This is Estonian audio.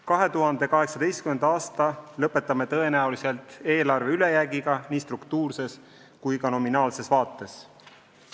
2018. aasta lõpetame tõenäoliselt eelarve ülejäägiga nii struktuurses kui ka nominaalses vaates.